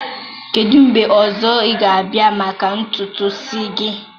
kedụ mgbe ọzọ ị ga-abịa maka ntutu isi gị?